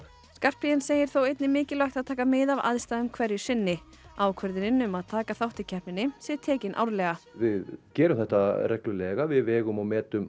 Skarphéðinn segir þó einnig mikilvægt að taka mið af aðstæðum hverju sinni ákvörðun um að taka þátt í keppninni sé tekin árlega við gerum þetta reglulega við vegum og metum